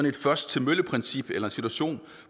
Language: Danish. et først til mølle princip eller en situation